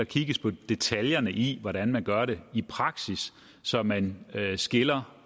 kigges på detaljerne i hvordan man gør det i praksis så man skiller